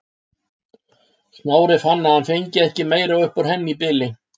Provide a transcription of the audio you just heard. Smári fann að hann fengi ekki meira upp úr henni í bili.